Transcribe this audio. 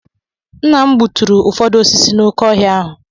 Nna m gbuturu ụfọdụ osisi nọ n'oké ọhịa ahụ.